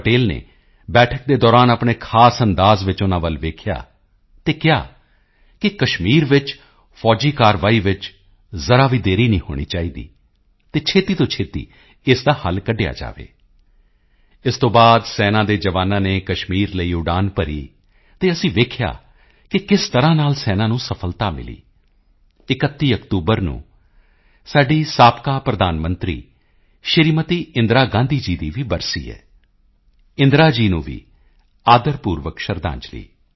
ਪਟੇਲ ਨੇ ਬੈਠਕ ਦੇ ਦੌਰਾਨ ਆਪਣੇ ਖ਼ਾਸ ਅੰਦਾਜ਼ ਵਿੱਚ ਉਨ੍ਹਾਂ ਵੱਲ ਵੇਖਿਆ ਅਤੇ ਕਿਹਾ ਕਿ ਕਸ਼ਮੀਰ ਵਿੱਚ ਫੌਜੀ ਕਾਰਵਾਈ ਚ ਜ਼ਰਾ ਵੀ ਦੇਰੀ ਨਹੀਂ ਹੋਣੀ ਚਾਹੀਦੀ ਅਤੇ ਛੇਤੀ ਤੋਂ ਛੇਤੀ ਇਸ ਦਾ ਹੱਲ ਕੱਢਿਆ ਜਾਵੇ ਇਸ ਤੋਂ ਬਾਅਦ ਸੈਨਾ ਦੇ ਜਵਾਨਾਂ ਨੇ ਕਸ਼ਮੀਰ ਲਈ ਉਡਾਨ ਭਰੀ ਅਤੇ ਅਸੀਂ ਵੇਖਿਆ ਕਿ ਕਿਸ ਤਰ੍ਹਾਂ ਨਾਲ ਸੈਨਾ ਨੂੰ ਸਫਲਤਾ ਮਿਲੀ 31 ਅਕਤੂਬਰ ਨੂੰ ਸਾਡੀ ਸਾਬਕਾ ਪ੍ਰਧਾਨ ਮੰਤਰੀ ਸ਼੍ਰੀਮਤੀ ਇੰਦਰਾ ਗਾਂਧੀ ਜੀ ਦੀ ਵੀ ਬਰਸੀ ਹੈ ਇੰਦਰਾ ਜੀ ਨੂੰ ਵੀ ਆਦਰ ਪੂਰਵਕ ਸ਼ਰਧਾਂਜਲੀ